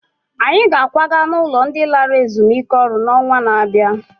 Anyị ga-akwaga n'ụlọ ndị lara ezumike ọrụ n'ọnwa na-abịa